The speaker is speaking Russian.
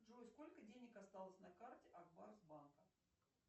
джой сколько денег осталось на карте акбарс банка